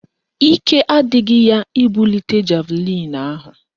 Ike adịghị ya ibulite javlịn ahụ